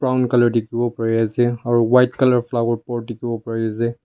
brown colour tikibo bari ase aro white colour flower pot tikibo bari ase.